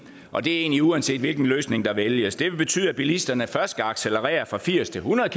og det er egentlig uanset hvilken løsning der vælges det vil betyde at bilisterne først skal accelerere fra firs til hundrede